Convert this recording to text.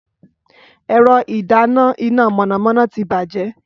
Ẹ̀rọ ìdáná iná mọ̀nàmọ́ná ti bàjẹ́